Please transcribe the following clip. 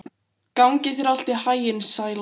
Gangi þér allt í haginn, Sæla.